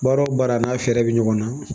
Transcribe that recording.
Baara o baara n'a fɛɛrɛ bɛ ɲɔgɔn na